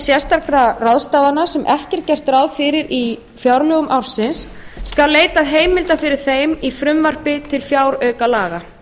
til sérstakra fjárráðstafana sem ekki var gert ráð fyrir í fjárlögum ársins skal leitað heimilda fyrir þeim í frumvarpi til fjáraukalaga